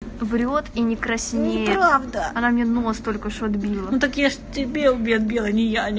врёт и не краснеет не правда она мне нос только что отбила ну так я ж тебе отбила а не яне